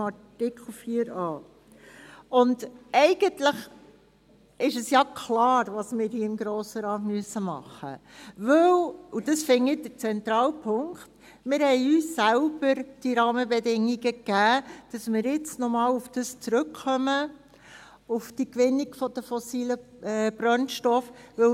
Eigentlich ist klar, was wir hier im Grossen Rat tun müssen, weil – und ich finde, dies sei der zentrale Punkt – wir uns diese Rahmenbedingungen selbst gegeben haben, sodass wir nun nochmals auf die Gewinnung der fossilen Brennstoffe zurückkommen.